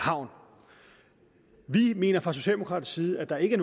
havn vi mener fra socialdemokratisk side at der ikke